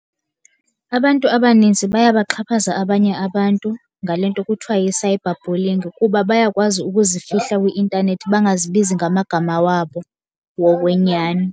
Abantu abaninzi bayabaxhaphaza abanye abantu ngale nto kuthiwa yi-cyberbullying, kuba bayakwazi ukuzifihla kwi-intanethi bangazibizi ngamagama wabo wokwenyani.